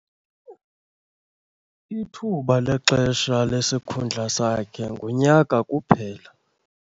Ithuba lexesha lesikhundla sakhe ngunyaka kuphela.